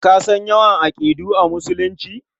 Ka san yawan aƙidu a Musulunci?